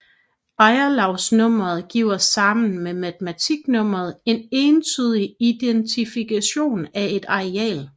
Ejerlavsnummeret giver sammen med matrikelnummeret en entydig identifikationen af et areal